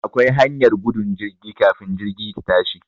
Akwa hanyar gudun jirgi kafin jirgi ta tashi